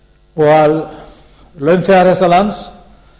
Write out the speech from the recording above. og að launþegar þessa lands